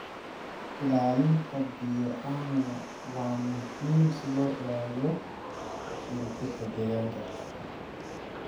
Ilaalinta bioanuwa waa muhiim si loo ilaaliyo dheelitirka deegaanka.